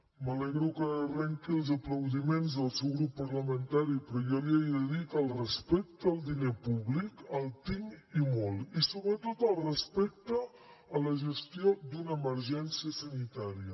m’alegro que arrenqui els aplaudiments del seu grup parlamentari però jo li he de dir que el respecte al diner públic el tinc i molt i sobretot el respecte a la gestió d’una emergència sanitària